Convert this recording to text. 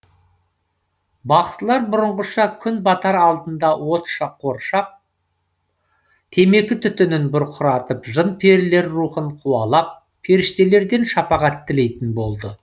бақсылар бұрынғыша күн батар алдында отты қоршап темекі түтінін бұрқыратып жын перілер рухын қуалап періштелерден шапағат тілейтін болды